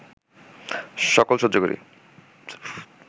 সকল সহ্য করি